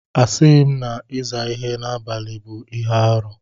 Asịghị m na ịza ihe n'abalị bụ ihe arụ.